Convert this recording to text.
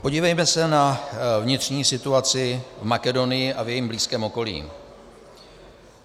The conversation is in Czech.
Podívejme se na vnitřní situaci v Makedonii a v jejím blízkém okolí.